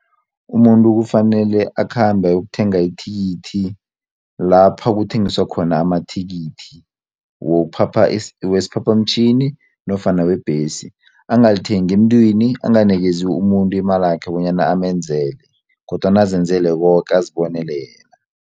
Umuntu kufanele akhambe ayokuthenga ithikithi lapha kuthengiswa khona amathikithi wokuphapha wesiphaphamtjhini nofana webhesi angalithengi emntwini anganikezi umuntu imalakhe bonyana amenzele kodwana azenzele koke azibonele yena.